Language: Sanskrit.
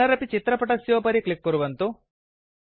पुनरपि चित्रपटस्योपरि क्लिक् कुर्वन्तु